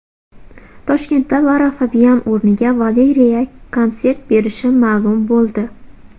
Toshkentda Lara Fabian o‘rniga Valeriya konsert berishi ma’lum bo‘ldi.